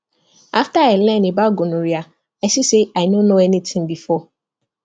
after i learn about gonorrhea i see say i no know anything before